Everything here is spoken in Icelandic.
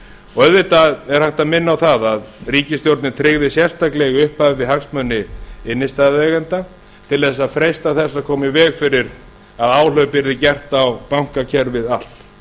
auðvitað er hægt að minna á að ríkisstjórnin tryggði sérstaklega í upphafi hagsmuni innstæðueigenda til að freista þess að koma í veg fyrir að áhlaup yrði gert á bankakerfið allt